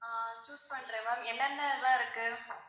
ஆஹ் choose பண்றேன் ma'am என்னென்ன எல்லாம் இருக்கு?